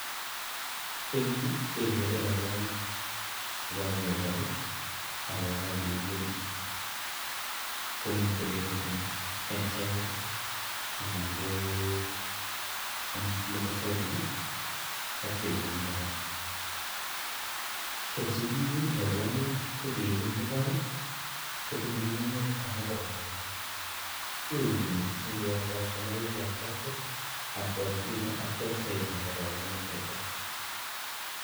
Eng Yu kegere chekakepol akokakeun, komitei kesorteni eng saizes ak tililindo kora ko sigeun rabwonik kongeibu en mbar kotinyei ng'ung'unyek amu kabunu ngweny keuni singoro kastoma koegu attracted akora Sinai actual size nebo robuonik chito.